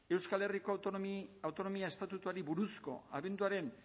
euskal herriko autonomia estatutuari buruzko abenduaren